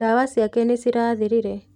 Ndawa ciake nĩ cirathirire.